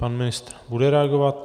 Pan ministr bude reagovat.